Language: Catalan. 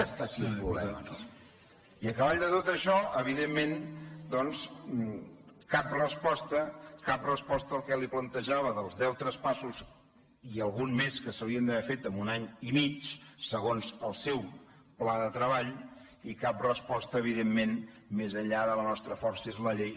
ha estat el problema no i a cavall de tot això evidentment doncs cap resposta cap resposta al que li plantejava dels deu traspassos i algun més que s’haurien haver fet en un any i mig segons el seu pla de treball i cap resposta evidentment més enllà de la nostra força és la llei